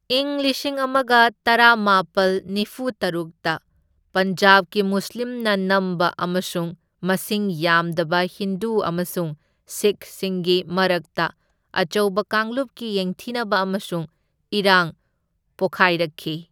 ꯢꯪ ꯂꯤꯁꯤꯡ ꯑꯃꯒ ꯇꯔꯥꯃꯥꯄꯜ ꯅꯤꯐꯨ ꯇꯔꯨꯛꯇ ꯄꯟꯖꯥꯕꯀꯤ ꯃꯨꯁꯂꯤꯝꯅ ꯅꯝꯕ ꯑꯃꯁꯨꯡ ꯃꯁꯤꯡ ꯌꯥꯝꯗꯕ ꯍꯤꯟꯗꯨ ꯑꯃꯁꯨꯡ ꯁꯤꯈꯁꯤꯡꯒꯤ ꯃꯔꯛꯇ ꯑꯆꯧꯕ ꯀꯥꯡꯂꯨꯞꯀꯤ ꯌꯦꯡꯊꯤꯅꯕ ꯑꯃꯁꯨꯡ ꯏꯔꯥꯡ ꯄꯣꯈꯥꯏꯔꯛꯈꯤ꯫